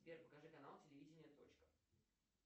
сбер покажи канал телевидение точка